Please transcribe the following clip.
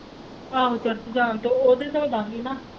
ਆਹੋ church ਜਾਣ ਤੇ ਇਹ ਵੀ ਧੋ ਦਾਂਗੀ ਨਾ।